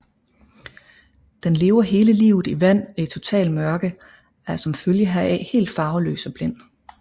Den lever hele livet i vand og i totalt mørke og er som følge heraf helt farveløs og blind